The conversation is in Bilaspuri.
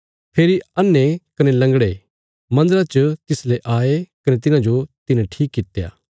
फेरी अन्हे कने लंगड़े मन्दरा च तिसले आये कने तिन्हाजो तिने ठीक कित्या